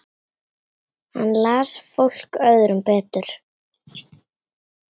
Hann las fólk öðrum betur.